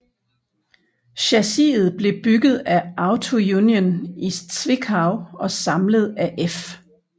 Chassiset blev bygget af Auto Union i Zwickau og samlet af F